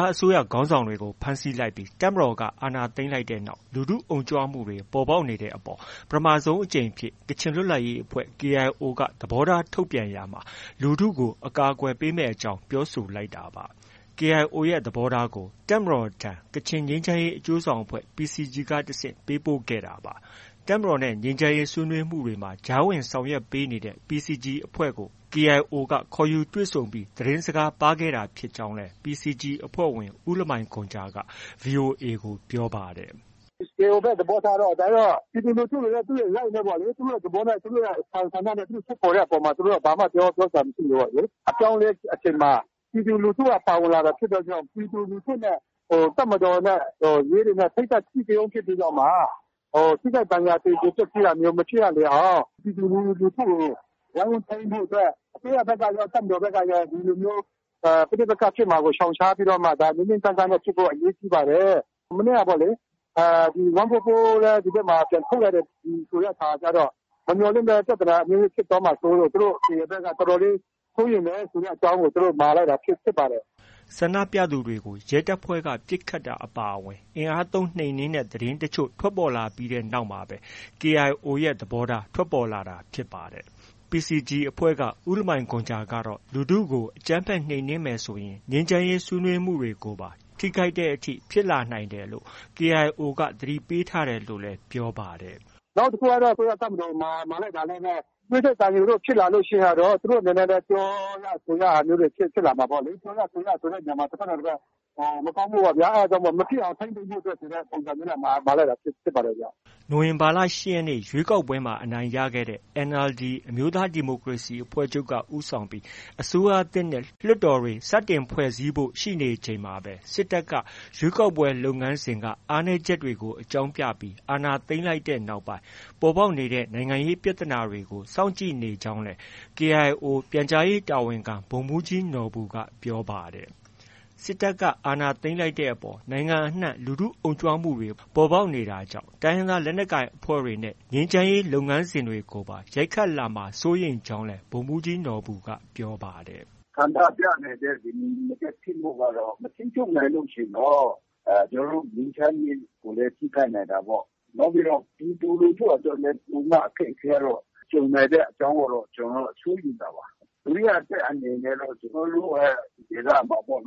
ားအစိုးရ ခေါင်းဆောင်တွေကို ဖမ်းဆီးလိုက်ပြီး တပ်မတော်က အာဏာသိမ်းလိုက်တဲ့နောက် လူထုအုံကြွမှုတွေ ပေါ်ပေါက်နေတဲ့အပေါ် ပထမဆုံးအကြိမ်အဖြစ် ကချင်လွတ်လပ်ရေးအဖွဲ့ KIO က သဘောထား ထုတ်ပြန်ရာမှာ လူထုကို အကာအကွယ်ပေးမယ့်အကြောင်း ပြောဆိုလိုက်တာပါ။ KIO ရဲ့ သဘောထားကိုလည်း တပ်မတော်ထံ ကချင်ငြိမ်းချမ်းရေးအကျိုးဆောင်အဖွဲ့ PCG ကတဆင့် ပေးပို့ခဲ့ပါတယ်။ တပ်မတော်နဲ့ ငြိမ်းချမ်းရေး ဆွေးနွေးမှုတွေမှာ ကြားဝင်ဆောင်ရွက်ပေးနေတဲ့ PCG အဖွဲ့ကို KIO က ခေါ်ယူတွေ့ဆုံပြီး သတင်းစကားပါးခဲ့တာ ဖြစ်ကြောင်းလည်း PCG အဖွဲ့ဝင် ဦးလမိုင်ဂွန်ဂျာက ဗွီအိုအေ ကို ပြောပါတယ်။ “KIO ဘက်က သဘောထားကတော့ ပြည်သူလူထုတွေက သူတို့ရဲ့ Rights ပဲ ပေါ့လေ။ သူတို့ရဲ့ သဘောထား၊ သူတို့ရဲ့ဆန္ဒထုတ်ဖော်တဲ့အပေါ်မှာ သူတို့က ဘာမှ ပြောစရာမရှိဘူးပေါ့။ အပြောင်းအလဲအချိန်မှာ ပြည်သူလူထုက ပါဝင်လာတာ ဖြစ်တဲ့အတွက်ကြောင့် ပြည်သူလူထုနဲ့၊ တပ်မတော်နဲ့၊ ရဲတွေနဲ့ ထိပ်တိုက် အဓိကရုဏ်းဖြစ်ပြီးတော့မှ ထိခိုက်ဒဏ်ရာ သေကြေပျက်ဆီးတာမျိုး မဖြစ်ရလေအောင် ပြည်သူလူထုကို ဝိုင်းဝန်းထိန်းဖို့ အတွက်၊ အစိုးရဘက်ကရော၊ စစ်တပ်ဘက်ကရော ဒီလိုမျိုး ပဋိပက္ခဖြစ်မှာကို ရှောင်ရှားပြီးတော့မှ ငြိမ်းငြိမ်းချမ်းချမ်းနဲ့ ဖြစ်ဖို့ အရေးကြီးပါတယ်။ မနေ့ကပေါ့လေ... ၁၄၄ လည်း ဒီဘက်မှာ ပြန်ထုတ်လိုက်တဲ့အခါကျတော့ မမျှော်လင့်ဘဲ ပြဿနာအမျိုးမျိုးဖြစ်သွားမှာကြောင့်မို့ သူတို့ဘက်လည်း တော်တော်လေး စိုးရိမ်တယ်ဆိုတဲ့အကြောင်းကို သူတို့ မှာလိုက်တာဖြစ်ပါတယ်။” ဆန္ဒပြသူတွေကို ရဲတပ်ဖွဲ့က ပစ်ခတ်တာ အပါအဝင် အင်အားသုံး နှိမ်နင်းတဲ့ သတင်းတချို့ ထွက်ပေါ်လာပြီးနောက်မှာပဲ KIO ရဲ့ သဘောထား ထွက်ပေါ်လာတာလည်း ဖြစ်ပါတယ်။ PCG အဖွဲ့က ဦးလမိုင်ဂွန်ဂျာကတော့ လူထုကို အကြမ်းဖက်နှိမ်နင်းမယ်ဆိုရင် ငြိမ်းချမ်းရေး ဆွေးနွေးမှုတွေမှာပါ ထိခိုက်လာနိုင်တဲ့အထိ ဖြစ်လာနိုင်တယ်လို့ KIO က သတိပေးထားတယ်လို့လည်း ပြောပါတယ်။ “နောက်တစ်ခုက အစိုးရတပ်မတော်ကို မှာလိုက်တာလည်းပဲ သွေးထွက်သံယိုဖြစ်လာလို့ ရှိရင်တော့ သူတို့အနေနဲ့လည်း ပြောရဆိုရတာမျိုးတွေ ဖြစ်လာမှာပေါ့လေ။ ပြောရဆိုရတာမျိုးတွေဆိုတဲ့နေရာမှာ တဘက်နဲ့ တဘက် မကောင်းဘူးပေါ့ဗျာ။ ဒါကြောင့် မဖြစ်အောင် ထိန်းသိမ်းဖို့ ဆိုတဲ့ ပုံစံမျိုးနဲ့ မှာလိုက်တာဖြစ်ပါတယ်။” နိုဝင်ဘာလ ၈ ရက်နေ့ ရွေးကောက်ပွဲမှာ အနိုင်ရခဲ့တဲ့ NLD အမျိုးသား ဒီမိုကရေစီအဖွဲ့ချုပ်က ဦးဆောင်ပြီး အစိုးရသစ်နဲ့ လွှတ်တော်တွေ စတင်ဖွဲ့စည်းဖို့ ရှိနေချိန်မှာပဲ စစ်တပ်က ရွေးကောက်ပွဲလုပ်ငန်းစဉ်က အားနည်းချက်တွေကို အကြောင်းပြပြီး အာဏာသိမ်းလိုက်ပြီးနောက်ပိုင်း ပေါ်ပေါက်နေတဲ့ နိုင်ငံရေးပြဿနာတွေကို စောင့်ကြည့်နေကြောင်းလည်း KIO ပြန်ကြားရေးတာဝန်ခံ ဗိုလ်မှူးကြီးနော်ဘူက ပြောပါတယ်။ စစ်တပ်က အာဏာသိမ်းလိုက်တဲ့အပေါ် နိုင်ငံအနှံ့ လူထုအုံကြွမှုတွေ ပေါ်ပေါက်နေတာကြောင့် တိုင်းရင်းသား လက်နက်ကိုင် အဖွဲ့တွေနဲ့ ငြိမ်းချမ်းရေး လုပ်ငန်းစဉ်တွေကိုပါ ရိုက်ခတ်လာမှာ စိုးရိမ်ကြောင်းလည်း ဗိုလ်မှူးကြီးနော်ဘူက ပြောပါတယ်။ “ဆန္ဒပြနေတဲ့ မငြိမ်မသက်ဖြစ်မှုကတော့ မထိန်းချုပ်နိုင်ရင် ကျနော်တို့ ငြိမ်းချမ်းရေးကိုလည်း ထိခိုက်နိုင်တာပေါ့။ နောက်ပြီးတော့ ပြည်သူလူထုအတွက်လည်း အခက်အခဲပိုပြီးတော့ ကြုံနိုင်တဲ့ အကြောင်းကိုတော့ ကျနော်တို့က စိုးရိမ်တာပါ။ ဒုတိယအချက်အနေနဲ့ကတော့ ကျနော်တို့ရဲ့ ဒေသမှာ ပြည်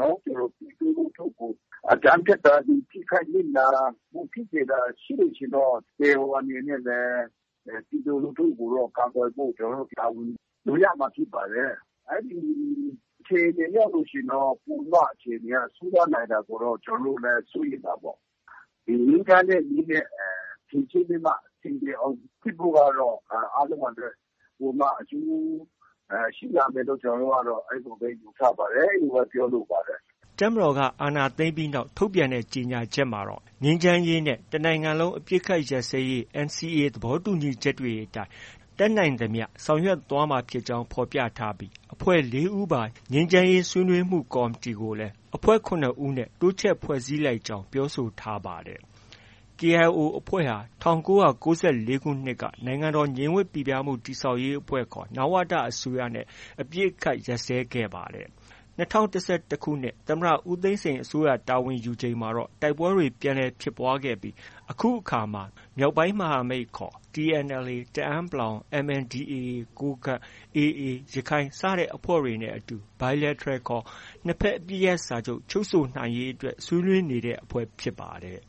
သူလူထုကို အကြမ်းဖက်တာတွေ ထိခိုက်နစ်နာမှု ရှိစေလို့ရှိရင်တော့ ကျနော်တို့ KIO အနေနဲ့လည်း ပြည်သူလူထုကိုတော့ ကာကွယ်ဖို့ တာဝန်ယူရမှာဖြစ်ပါတယ်။ အဲဒီအခြေအနေရောက်လို့ရှိရင်တော့ အခြေအနေက ပိုပြီးတော့ ဆိုးသွားနိုင်တာကို ကျနော်တို့လည်း စိုးရိမ်တာပေါ့။ ဒီငြိမ်းချမ်းတဲ့နည်းနဲ့ အဆင်ပြေအောင်ဖြေရှင်းဖို့ကတော့ အားလုံးအတွက် ပိုပြီးမှ အကျိုးရှိလာမယ်လို့ ကျနော်တို့ကတော့ အဲဒီလိုပဲ ယူဆပါတယ်။ အဲဒီလိုပဲ ပြောလိုပါတယ်။” တပ်မတော်က အာဏာသိမ်းပြီးနောက် ထုတ်ပြန်ခဲ့တဲ့ ကြေညာချက်မှာတော့ ငြိမ်းချမ်းရေးနဲ့ တနိုင်ငံလုံးအပစ်အခတ်ရပ်စဲရေး NCA သဘောတူညီချက်တွေအတိုင်း တတ်နိုင်သမျှ ဆောင်ရွက်သွားမှာဖြစ်ကြောင်း ဖော်ပြထားပြီး၊ အဖွဲ့ဝင် ၄ ဦးပါ ငြိမ်းချမ်းရေးဆွေးနွေးမှု ကော်မတီကိုလည်း အဖွဲ့ဝင် ၇ ဦးနဲ့ တိုးချဲ့ဖွဲ့စည်းလိုက်ကြောင်း ပြောဆိုထားပါတယ်။ KIO အဖွဲ့ဟာ ၁၉၉၄ ခုနှစ်က နိုင်ငံတော်ငြိမ်ဝပ်ပိပြားမှု တည်ဆောက်ရေးအဖွဲ့ခေါ် နဝတ အစိုးရနဲ့ အပစ်အခတ် ရပ်စဲခဲ့ပါတယ်။ ၂၀၁၁ ခုနှစ် သမ္မတ ဦးသိန်းစိန်အစိုးရတာဝန်ယူချိန်မှာ တိုက်ပွဲတွေ ပြန်လည်ဖြစ်ပွားခဲ့ပြီး အခုအခါမှာ မြောက်ပိုင်းမဟာမိတ်ခေါ် TNLA တအန်း(ပလောင်)၊ MNDAA ကိုးကန့်၊ AA ရခိုင်စတဲ့အဖွဲ့တွေနဲ့အတူ Bilateral ခေါ် နှစ်ဘက်အပစ်ရပ်စာချုပ် ချုပ်ဆိုရေးအတွက် ဆွေးနွေးနေတဲ့ အဖွဲ့ဖြစ်ပါတယ်